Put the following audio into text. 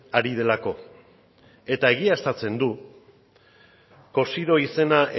ari delako eta egiaztatzen du cosidó izena